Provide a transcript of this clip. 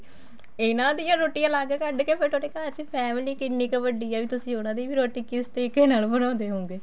ਇਹਨਾ ਦੀਆਂ ਰੋਟੀਆਂ ਅਲੱਗ ਕੱਡ ਕੇ ਫੇਰ ਤੁਹਾਡੀ ਘਰ ਚ family ਕਿੰਨੀ ਕ ਵੱਡੀ ਏ ਵੀ ਤਸੀ ਉਹਨਾ ਦੀ ਵੀ ਰੋਟੀ ਕਿਸ ਤਰੀਕੇ ਨਾਲ ਬਣਾਉਂਦੇ ਹੋਉਂਗੇ